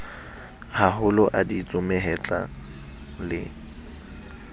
maholo a ditsu mahetla le